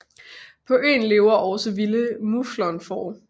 På øen lever også vilde muflonfår